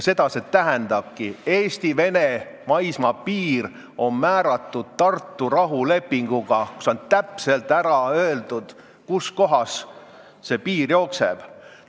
Seda see tähendabki: Eesti ja Vene maismaapiir on määratud Tartu rahulepinguga, kus on täpselt öeldud, kus kohas piir jookseb.